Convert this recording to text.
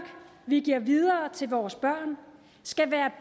vi giver videre til vores børn skal være